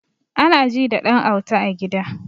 Anaji da ɗan auta a gida